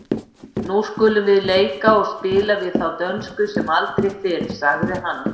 Nú skulum við leika og spila við þá dönsku sem aldrei fyrr, sagði hann.